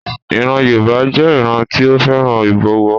Ìran Yoruba jẹ́ ìran tí ó fẹ́ràn ìbọ̀wọ̀.